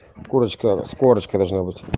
курочка с корочкой должна быть